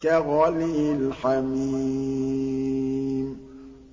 كَغَلْيِ الْحَمِيمِ